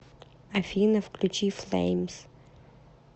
афина включи флэймс